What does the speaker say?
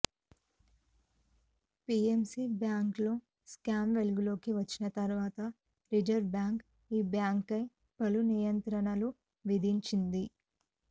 PMC బ్యాంక్లో scam వెలుగులోకి వచ్చిన తర్వాత రిజర్వు బ్యాంక్ ఈ బ్యాంక్పై పలు నియంత్రణలు విధించింది